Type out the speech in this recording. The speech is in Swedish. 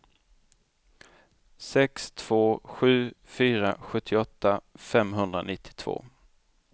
sex två sju fyra sjuttioåtta femhundranittiotvå